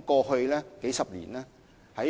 過去數十年，